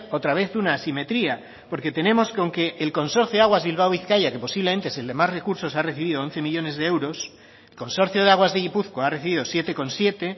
otra vez una asimetría porque tenemos con que el consorcio de aguas bilbao bizkaia que posiblemente es el que más recursos ha recibido de once millónes de euros el consorcio de aguas de gipuzkoa ha recibido siete coma siete